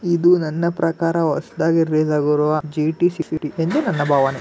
ಇದು ನನ್ನ ಪ್ರಕಾರ ಹೊಸದಾಗಿ ರಿಲಿಸಾಗಿರುವ ಜಿ.ಟಿ ಎಂದು ನನ್ನ ಭಾವನೆ .